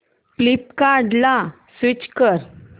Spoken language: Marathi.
फ्लिपकार्टं ला स्विच कर